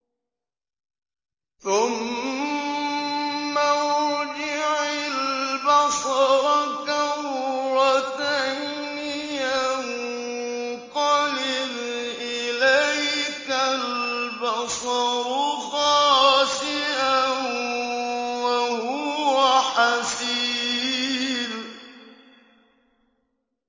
ثُمَّ ارْجِعِ الْبَصَرَ كَرَّتَيْنِ يَنقَلِبْ إِلَيْكَ الْبَصَرُ خَاسِئًا وَهُوَ حَسِيرٌ